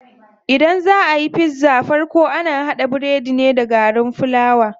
Idan zaa ayi pizza farko ana haɗa biredin ne da garin fulawa.